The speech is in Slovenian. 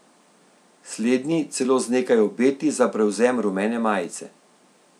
Slednji celo z nekaj obeti za prevzem rumene majice.